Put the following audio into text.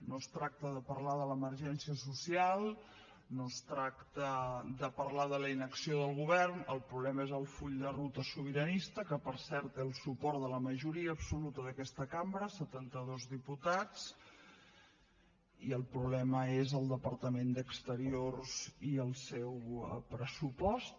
no es tracta de parlar de l’emergència social no es tracta de parlar de la inacció del govern el problema és el full de ruta sobiranista que per cert té el suport de la majoria absoluta d’aquesta cambra setanta dos diputats i el problema és el departament d’exteriors i el seu pressupost